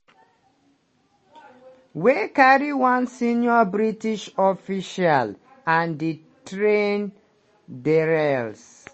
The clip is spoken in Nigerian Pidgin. wey carry one senior british official and di train derail.